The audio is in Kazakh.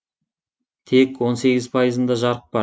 тек он сегіз пайызында жарық бар